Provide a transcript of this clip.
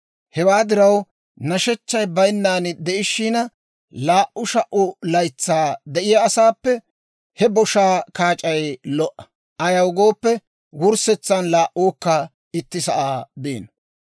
Hewaa diraw, nashechchay bayinnan de'ishiina, laa"u sha"u laytsaa de'iyaa asaappe he boshaa kaac'ay lo"a. Ayaw gooppe, wurssetsan laa"uukka itti sa'aa biino.